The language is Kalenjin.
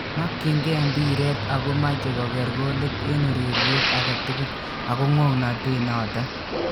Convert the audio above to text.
Makyingei mbiret ako machei kokeer golit eng ureriet age tugul ago ng'ongnotet noto